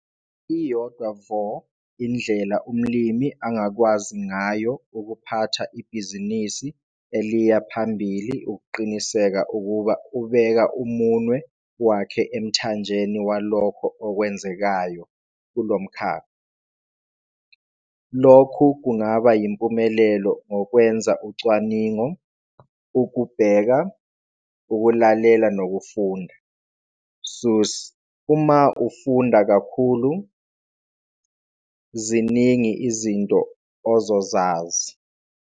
Iyodwa vo indlela umlimi angakwazi ngayo ukuphatha ibhizinisi eliya phambili ukuqiniseka ukuba ubeka umunwe wakhe emthanjeni walokho okwenzekayo kulo mkhakha. Lokhu kungaba yimpumelelo ngokwenza ucwaningo- Ukubheka, ukulalela nokufunda. Seuss- 'Uma ufunda kakhulu, ziningi izinto ozozazi.